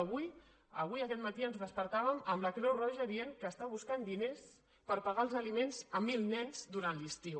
avui avui aquest matí ens despertàvem amb la creu roja dient que està buscant diners per pagar els aliments a mil nens durant l’estiu